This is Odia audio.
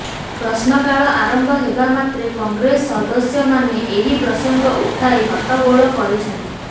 ପ୍ରଶ୍ନକାଳ ଆରମ୍ଭ ହେବାମାତ୍ରେ କଂଗ୍ରେସ ସଦସ୍ୟମାନେ ଏହି ପ୍ରସଙ୍ଗ ଉଠାଇ ହଟ୍ଟଗୋଳ କରିଛନ୍ତି